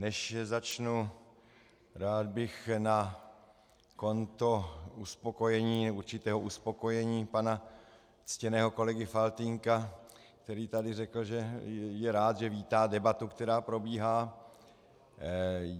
Než začnu, rád bych na konto uspokojení, určitého uspokojení pana ctěného kolegy Faltýnka, který tady řekl, že je rád, že vítá debatu, která probíhá.